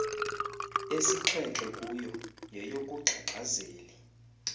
esixhenxe kuyo yeyokugxagxazeli